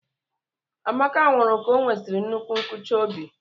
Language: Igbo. Amaka nwụrụ ka onwesiri nnukwu nkuchi óbị.